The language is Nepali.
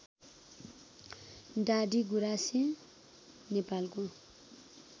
डाडीगुराँसे नेपालको